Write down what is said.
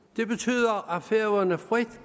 og færøerne frit